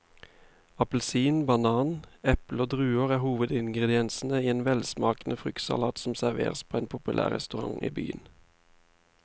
Appelsin, banan, eple og druer er hovedingredienser i en velsmakende fruktsalat som serveres på en populær restaurant i byen.